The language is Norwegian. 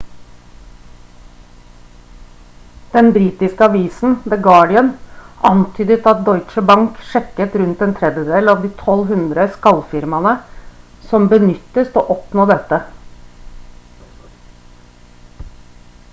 den britiske avisen the guardian antydet at deutsche bank sjekket rundt en tredjedel av de 1200 skall-firmaene som benyttes til å oppnå dette